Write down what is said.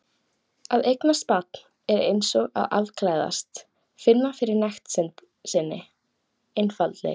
Að eignast barn er eins og að afklæðast, finna fyrir nekt sinni, einfaldleika.